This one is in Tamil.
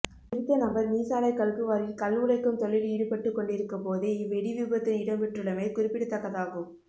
குறித்த நபர் மீசாலை கல்குவாரியில் கல் உடைக்கும் தொழில் ஈடுபட்டுக் கொண்டிருக்கும் போதே இவ்வெடி விபத்து இடம்பெற்றுள்ளமை குறிப்பிடத்தக்கதாகும்